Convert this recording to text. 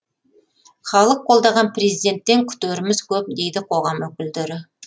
халық қолдаған президенттен күтеріміз көп дейді қоғам өкілдері